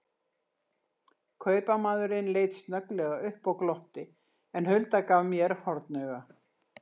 Kaupamaðurinn leit snögglega upp og glotti, en Hulda gaf mér hornauga.